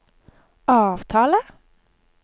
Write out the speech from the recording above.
avtale